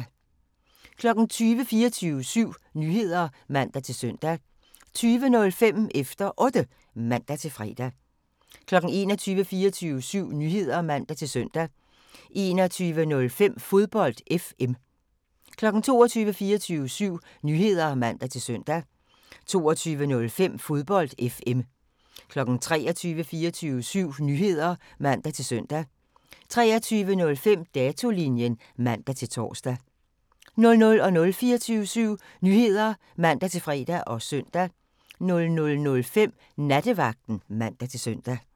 20:00: 24syv Nyheder (man-søn) 20:05: Efter Otte (man-fre) 21:00: 24syv Nyheder (man-søn) 21:05: Fodbold FM 22:00: 24syv Nyheder (man-søn) 22:05: Fodbold FM 23:00: 24syv Nyheder (man-søn) 23:05: Datolinjen (man-tor) 00:00: 24syv Nyheder (man-fre og søn) 00:05: Nattevagten (man-søn)